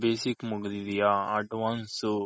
basic ಮುಗ್ದಿದ್ಯ advance